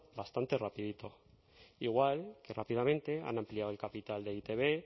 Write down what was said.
bastante rapidito igual que rápidamente han ampliado el capital de e i te be